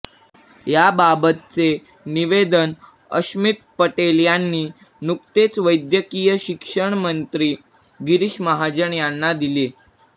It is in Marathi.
याबाबतचे निवेदन अश्मित पटेल यांनी नुकतेच वैद्यकीय शिक्षण मंत्री गिरीश महाजन यांना दिले